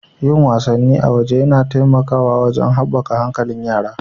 Yin wasannn a waje yana taimakawa wajen haɓaka hankalin yara.